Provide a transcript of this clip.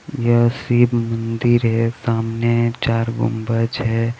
यह शिब मंदिर हे सामने चार गुम्बज हे.